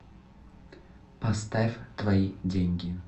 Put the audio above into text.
поставь твои деньги